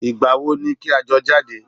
Ìgbàwo ni kí a jọ jáde?